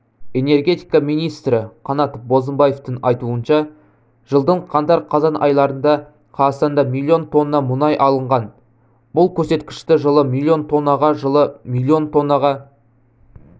энергетика министрі қанат бозымбаевтың айтуынша жылдың қаңтар-қазан айларында қазақстанда миллион тонна мұнай алынған бұл көрсеткішті жылы миллион тоннаға жылы миллион тоннаға